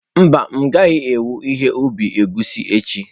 Mba, m'gaghi-ewe ihe ubi egwusi echi.